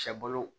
Cɛ bolo